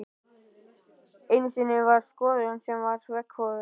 Einu sinni var skoðun sem var veggfóður.